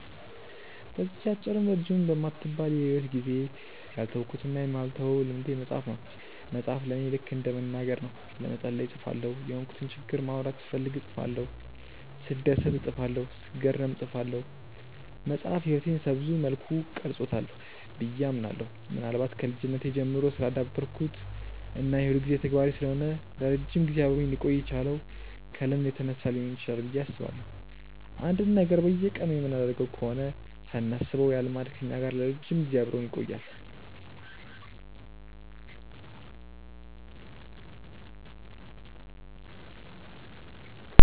በዚህች አጭርም ረጅምም በማትባል የሂወት ጊዜዬ ያልተውኩትና የማልተወው ልምዴ መጻፍ ነው። መጻፍ ለኔ ልከ እንደ መናገር ነው። ለመጸለይ እጽፋለሁ፤ የሆንኩትን ችግር ማውራት ስፈልግ እጽፋለሁ፤ ስደሰት እጽፋለሁ፤ ስገረም እጽፋለሁ። መጻፍ ህይወቴን ሰብዙ መልኩ ቀርጾታል ብዬ አምናለሁ። ምናልባት ከልጅነቴ ጀምሮ ስላዳበርኩት እና የሁልጊዜ ተግባሬ ስለሆነ ለረጅም ጊዜ አብሮኝ ሊቆይ የቻለው ከልምድ የተነሳ ሊሆን ይችላል ብዬ አስባለሁ። አንድን ነገር በየቀኑ የምናደርገው ከሆነ ሳናስበው ያ ልማድ ከኛ ጋር ለረጅም ጊዜ አብሮን ይቆያል።